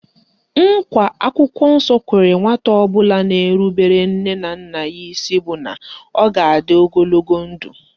Nkwa akwụkwọ nsọ kwere nwata ọbụla na-erubere nne na nna ya isi bụ na ọ ga-adị ogologo ndụ